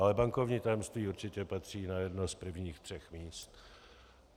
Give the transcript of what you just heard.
Ale bankovní tajemství určitě patří na jedno z prvních třech míst.